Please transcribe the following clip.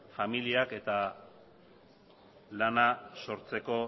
familiak eta lana sortzeko